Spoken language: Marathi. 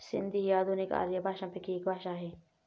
सिंधी ही आधुनिक आर्य भाषांपैकी एक भाषा आहे